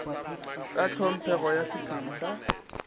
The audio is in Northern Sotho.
ka tlhomphego ya sephiri sa